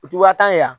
U ti wakan ye yan